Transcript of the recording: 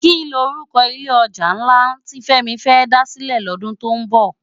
Kini òrúkò ilé òjá nlá ti Femi fè dá silè lòdún tó nbò?